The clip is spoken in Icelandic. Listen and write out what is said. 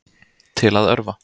Til að örva